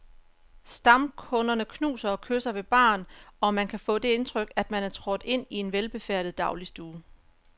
Stamkunderne knuser og kysser ved baren, og man kan få det indtryk, at man er trådt ind i en velbefærdet dagligstue.